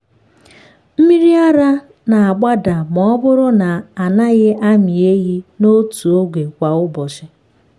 mmiri ara na-agbada ma ọ bụrụ na a naghị amị ehi n’otu oge kwa ụbọchị.